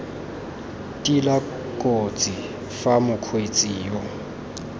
tila kotsi fa mokgweetsi yo